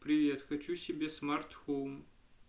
привет хочу себе смарт-хоум